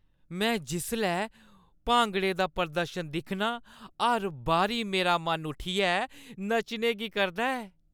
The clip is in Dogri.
में जिसलै भांगड़े दा प्रदर्शन दिक्खनां, हर बारी मेरा मन उट्ठियै नच्चने की करदा ऐ।